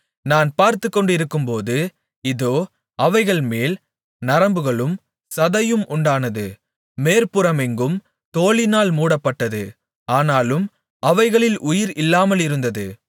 நான் பார்த்துக்கொண்டிருக்கும்போது இதோ அவைகள்மேல் நரம்புகளும் சதையும் உண்டானது மேற்புறமெங்கும் தோலினால் மூடப்பட்டது ஆனாலும் அவைகளில் உயிர் இல்லாமலிருந்தது